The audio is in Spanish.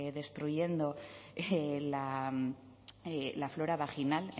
destruyendo la flora vaginal